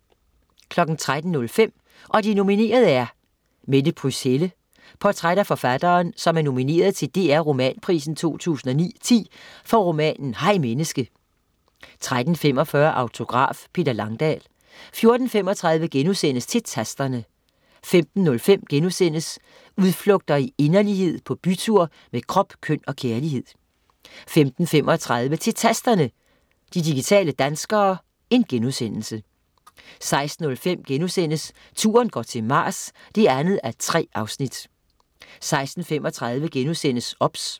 13.05 Og de nominerede er ... Merete Pryds Helle. Portræt af forfatteren, som er nomineret til DR Romanprisen 2009/10 for romanen "Hej Menneske" 13.45 Autograf: Peter Langdal 14.35 Til Tasterne* 15.05 "Udflugter i inderlighed, på bytur med krop, køn og kærlighed"* 15.35 Til Tasterne, de digitale danskere* 16.05 Turen går til Mars 2:3* 16.35 OBS*